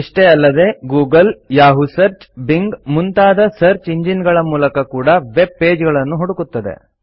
ಇಷ್ಟೇ ಅಲ್ಲದೆ Google Yahoo search Bing ಮುಂತಾದ ಸರ್ಚ್ ಎಂಜಿನ್ಗಳ ಮೂಲಕ ಕೂಡಾ ವೆಬ್ ಪೇಜ್ಗಳನ್ನು ಹುಡುಕುತ್ತದೆ